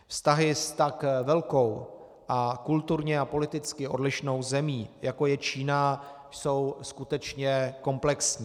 Vztahy s tak velkou a kulturně a politicky odlišnou zemí, jako je Čína, jsou skutečně komplexní.